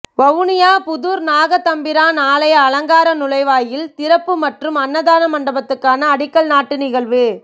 வவுனியா புதூர் நாகதம்பிரான் ஆலய அலங்கார நுழைவாயில் திறப்பு மற்றும் அன்னதான மண்டபத்துக்கான அடிக்கல் நாட்டல் நிகழ்வும்